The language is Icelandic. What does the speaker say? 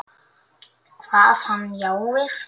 Kvað hann já við.